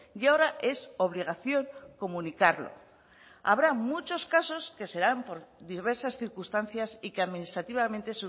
y ahora es obligación comunicarlo habrá muchos casos que serán por diversas circunstancias y que administrativamente